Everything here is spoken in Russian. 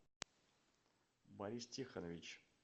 борис тихонович